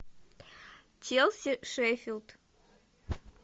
челси шеффилд